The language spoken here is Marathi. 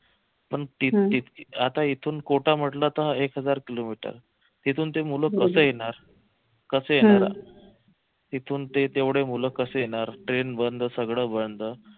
पण आता इथून कोटा म्हटलं तर एक हजार किलोमीटर तिथून ते मूलं कस येणार कस येणार तिथून ते तेवढे मुलं कसे येणार train बंद सगळं बंद